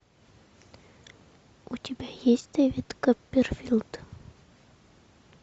у тебя есть дэвид копперфильд